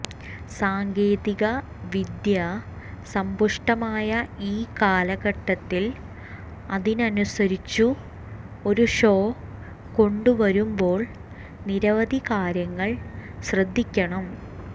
സാങ്കേതിക വിദ്യ സമ്പുഷ്ടമായ ഈ കാലഘട്ടത്തതിൽ അതിനനുസരിച്ചു ഒരു ഷോ കൊണ്ടുവരുമ്പോൾ നിരവധി കാര്യങ്ങൾ ശ്രദ്ധിക്കണം